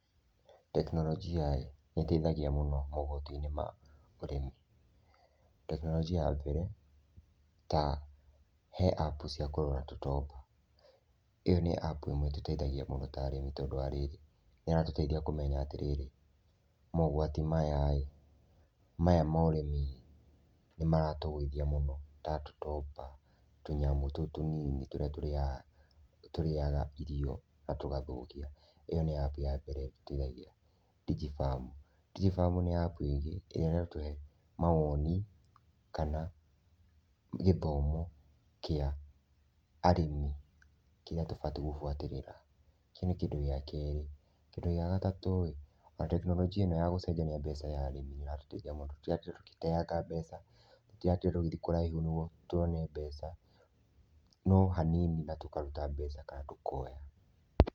Tekinoronjia-ĩ, nĩ ĩteithagia mũno mogutũinĩ ma ũrĩmi. Tekinoronjia ya mbere ta he apu cia kũrora tũtomba. ĩyo nĩ apu ĩmwe ĩtũteithagia mũno ta arĩmi tondũ nĩ ĩratũteithia kũmenya atĩ mogwati maya-rĩ, maya ma ũrĩmi nĩ maratũgũithia mũno ta tũtomba- tũnyamũ tũu tũnini tũrĩa tũrĩaga irio na tũgathũkia. Ĩyo nĩ apu ya mbere ĩtũteithagia. Digi Farm, Digi Farm nĩ apu ĩngĩ ĩrĩa ĩratũhe maoni kana gĩthomokĩa arĩmi kĩrĩa tũbatiĩ gũbuatĩrĩra . Kĩu nĩ kĩndũ gĩa kerĩ, kĩndũ gĩa gatatũ-ĩ, tekinoronjia ĩno ya gũcenjania mbia ya arĩmi nĩ ĩratũtethia mũno, tũtiratinda tũgĩteanga mbeca, tũtiratinda tũgĩthiĩ kũraihu nĩguo tuone mbeca, no hanini na tũkaruta mbeca kana tũkoya.